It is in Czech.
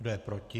Kdo je proti?